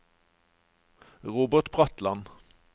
Robert Bratland